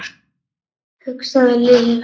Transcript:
hugsaði Lilla.